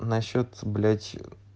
насчёт блять